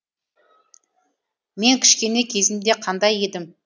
мен кішкене кезімде қандай едім